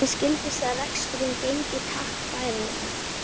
Mér skildist að reksturinn gengi takk bærilega.